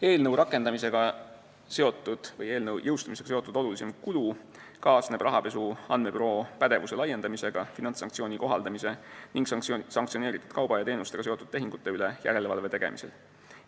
Eelnõu rakendamisega seotud või seaduse jõustumisega seotud olulisim kulu kaasneb rahapesu andmebüroo pädevuse laiendamisega, finantssanktsioonide kohaldamise ning sanktsioneeritud kauba ja teenustega seotud tehingute üle järelevalve tegemisega.